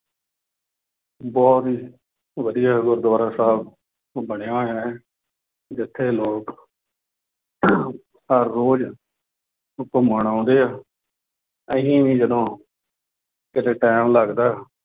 ਬਹੁਤ ਹੀ ਵਧੀਆ ਗੁਰਦੁਆਰਾ ਸਾਹਿਬ ਬਣਿਆ ਹੋਇਆ ਹੈ। ਜਿੱਥੇ ਲੋਕ ਹਰ ਰੋਜ਼ ਘੁੰਮਣ ਆਉਂਦੇ ਆ, ਅਸੀਂ ਵੀ ਜਦੋਂ ਕਿਤੇ time ਲੱਗਦਾ